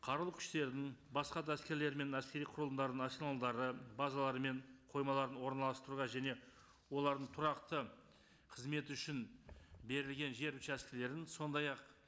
қарулы күштердің басқа да әскерлер мен әскери құрылымдарының арсеналдары базалары мен қоймаларын орналастыруға және олардың тұрақты қызметі үшін берілген жер учаскілерін сондай ақ